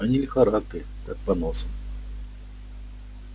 а не лихорадкой так поносом